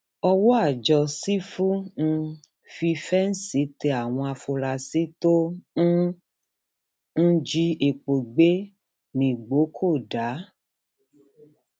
ọwọ àjọ sífù um fífẹǹsì tẹ àwọn afurasí tó um ń jí epo gbé nìgbókòdá